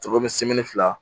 Cogo min fila